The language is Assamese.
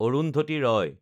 অৰুন্ধতী ৰয়